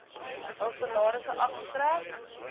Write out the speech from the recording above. hul salarisse afgetrek